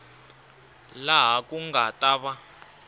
laha ku nga ta va